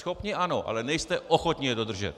Schopni ano, ale nejste ochotni je dodržet.